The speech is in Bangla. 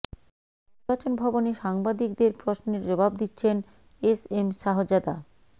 নির্বাচন ভবনে সাংবাদিকদের প্রশ্নের জবাব দিচ্ছেন এস এম শাহজাদা